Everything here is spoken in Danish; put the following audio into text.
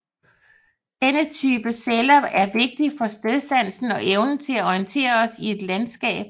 Denne type celler er vigtige for stedsansen og evnen til at orientere os i et landskap